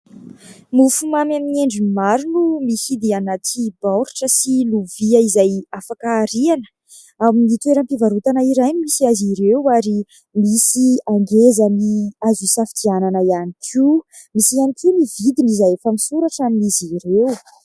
Mofomamy amin'ny endriny maro no mihidy anaty baoritra sy lovia izay afaka ariana. Amin'ny toeram-pivarotana iray no misy azy ireo ary misy hangezany azo hisafidianana ihany koa. Misy ihany koa ny vidiny izay efa misoratra amin'izy ireo.